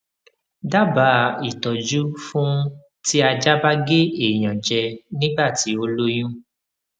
dábàá ìtọjú fún ti ajá ba ge eyan je nígbà tí ó lóyún